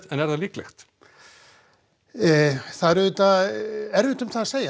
er það líklegt það er erfitt að segja